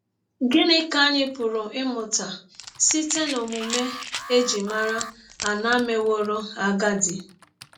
Gịnị ka anyị pụrụ ịmụta site n’ọmụme e ji mara Ana mewọrọ agadi?